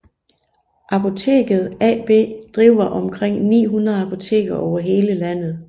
Apoteket AB driver omkring 900 apoteker over hele landet